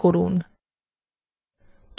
next click করুন